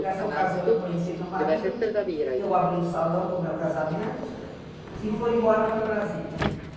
Nessa ocasião eu conheci meu marido, eu abri o salão com o meu casamento e fui embora para Brasília.